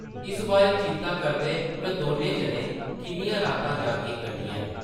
इस बारै चिंता करदे उʼनें दौनें जनें किन्नियां रातां जागियै कट्टियां न ।